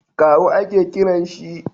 kawu a ke kiran shi?